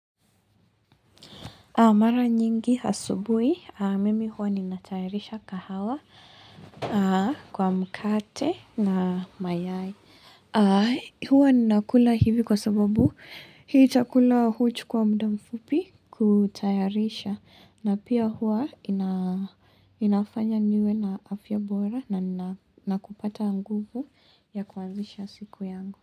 Mara nyingi hasubui, mimi huwa ninatayarisha kahawa kwa mkate na mayai. Huwa ninakula hivi kwa sababu hii chakula huchukua mda mfupi kutayarisha. Na pia huwa inafanya niwe na afya bora na nina nakupata nguvu ya kuanzisha siku yangu.